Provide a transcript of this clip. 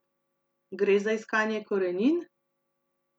Gre za iskanje korenin?